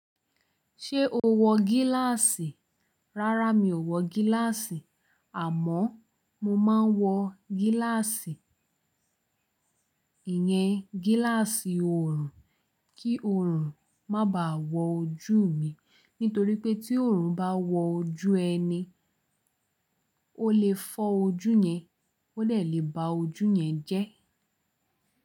Ṣé o wọ gíláàsì? Rárá, mi ò wọ gíláàsì àmọ́ mo máa ń wọ gíláàsì, ìyẹn gíláàsì oorun kí oorun má baà wọ ojú mi. Nítorí pé tí oorun bá wọ ojú ẹni, ó lè fọ́ ojú yẹn, ó lè bá ojú yẹn jẹ́.